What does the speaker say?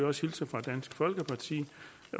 også hilse fra dansk folkeparti